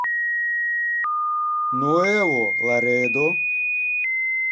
нуэво ларедо